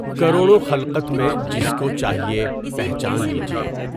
کروڑوں خلقت میں جس کو چاہیے، پہچان لیجیے۔